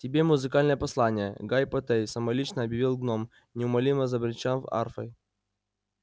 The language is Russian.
тебе музыкальное послание гайи поттей самолично объявил гном неумолимо забренчал арфой